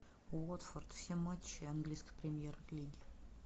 уотфорд все матчи английской премьер лиги